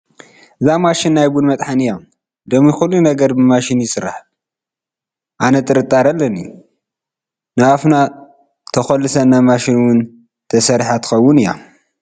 እዛ ማሽን ናይ ቡን መጥሓኒ እያ፡፡ ሎሚ ኩሉ ነገር ብማሽን እዩ ዝስራሕ፡፡ ኣነ ጥርጣረ ኣለኒ፡፡ ናብ ኣፍና ተኹልሰና ማሽን እውን ተሰሪሓ ትኸውን እያ፡፡